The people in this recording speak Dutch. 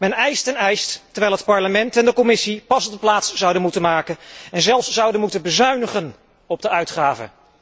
Men eist en eist, terwijl het Parlement en de Commissie pas op de plaats zouden moeten maken en zelfs zouden moeten bezuinigen op de uitgaven.